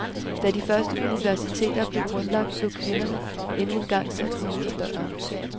Da de første universiteter blev grundlagt, blev kvinderne endnu engang sat uden for døren.